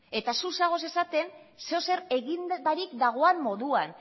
eta zu zaude esaten zer edozer egin barik dagoen moduan